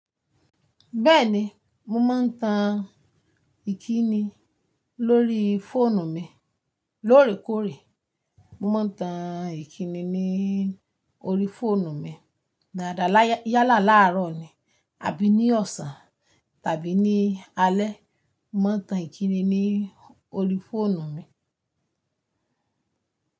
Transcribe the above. Bẹ́ẹ̀ni, mo máa ń tan ìkíni lórí fóònù mi lóòrèkóòrè. Mo máa ń tan ìkíni ní orí fóònù mi dáadáa yálà láàárọ̀ ni àbí ní ọ̀sán tàbí ní alẹ́. Mo máa ń tan ìkíni ní orí fóònù mi.